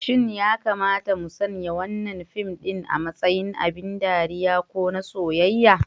Shin ya kamata mu sanya wannan fim ɗin a matsayin abin ban ɗariya ko na soyayya?